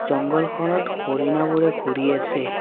জঙ্গলখনত হৰিণাবোৰে ঘূৰি আছে।